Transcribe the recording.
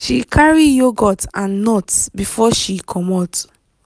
she carry yogurt and nuts before she commot.